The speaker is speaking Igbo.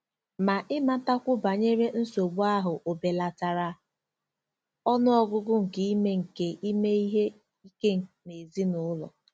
Ma ịmatakwu banyere nsogbu ahụ ò belatara ọnụ ọgụgụ nke ime nke ime ihe ike n'ezinụlọ?